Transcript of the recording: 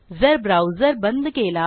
जर ब्राऊजर बंद केला